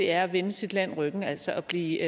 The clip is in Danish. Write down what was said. er at vende sit land ryggen altså at blive